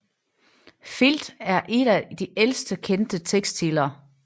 Filt er et af de ældste kendte tekstiler